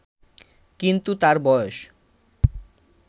কিন্তু তার বয়স